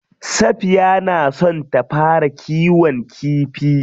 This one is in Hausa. Safiya na son ta fara kiwon kifi.